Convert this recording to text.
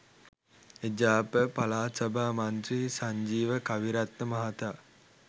එජාප පළාත් සභා මන්ත්‍රී සංජීව කවිරත්න මහතා